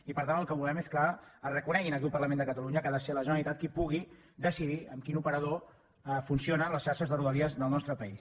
i per tant el que volem és que es reconegui aquí al parlament de catalunya que ha de ser la generalitat qui pugui decidir amb quin operador funcionen les xarxes de rodalies del nostre país